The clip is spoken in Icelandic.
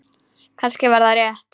Kannski var þetta rétt.